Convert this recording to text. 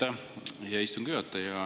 Aitäh, hea istungi juhataja!